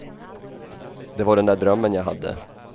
Det var den där drömmen jag hade.